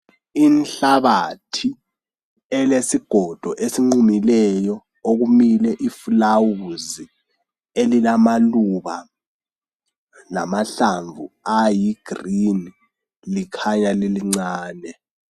Inhlabathi elesigodo esinqumileyo, okumile iflawuzi elilamaluba lamahlamvu ayi green, likhanya lilincane.